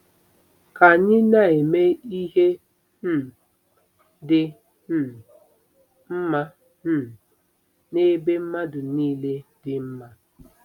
Ka Anyị Na-eme Ihe um Dị um Mma um n'Ebe Mmadụ Nile Dị Mma